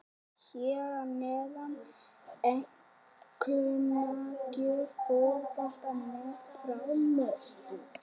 Hér að neðan er einkunnagjöf Fótbolta.net frá Möltu.